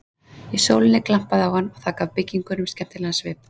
Í sólinni glampaði á hann og það gaf byggingum skemmtilegan svip.